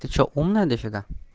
ты что умная до фига